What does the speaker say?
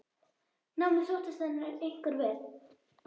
Námið sóttist henni einkar vel.